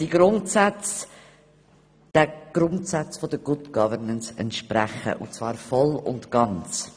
Die Grundsätze entsprechen den Grundsätzen der Good Governance voll und ganz.